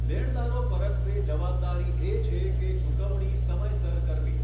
લેણદારો પરત્વે જવાબદારી એ છે ચૂકવણી સમયસર કરવી.